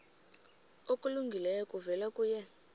okulungileyo kuvela kuye